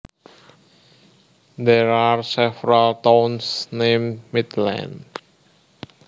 There are several towns named Midland